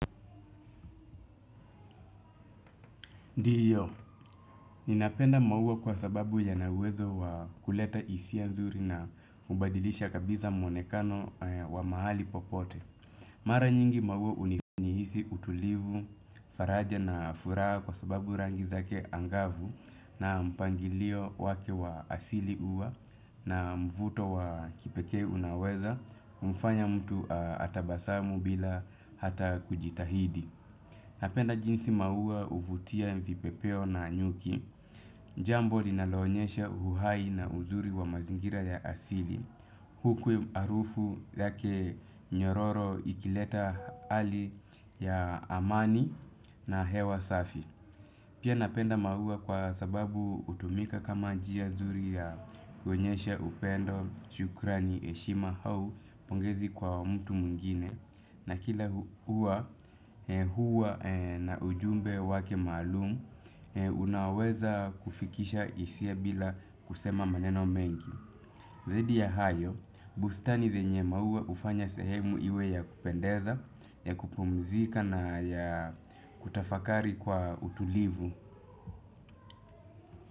Ndiyo, ninapenda maua kwa sababu yana uwezo wa kuleta hiisia nzuri na hubadilisha kabiza mwonekano wa mahali popote. Mara nyingi maua unihisi utulivu, faraja na furaha kwa sababu rangi zake angavu na mpangilio wake wa asili huwa na mvuto wa kipekee. Unaweza kumfanya mtu atabasamu bila hata kujitahidi. Napenda jinsi maua huvutia vipepeo na nyuki. Jambo linaloonyesha uhai na uzuri wa mazingira ya asili. Huku harufu yake nyororo ikileta hali ya amani na hewa safi. Pia napenda mauwa kwa sababu hutumika kama njia nzuri ya kuonyesha upendo, shukrani, heshima au pongezi kwa mtu mwngine na kila huwa na ujumbe wake maalumu unaweza kufikisha hisia bila kusema maneno mengi. Zaidi ya hayo, bustani zenye maua hufanya sehemu iwe ya kupendeza, ya kupumzika na ya kutafakari kwa utulivu.